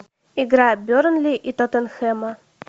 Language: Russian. игра бернли и тоттенхэма